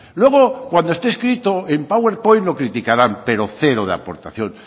luego cuando este escrito en powerpoint lo criticarán pero cero de aportación